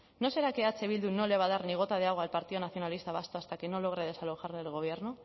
no será que eh bildu no le va a dar ni gota de agua al partido nacionalista vasco hasta que no logre desalojarle del gobierno